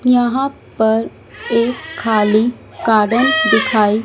यहां पर एक खाली गार्डन दिखाई--